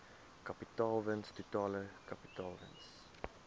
kapitaalwins totale kapitaalwins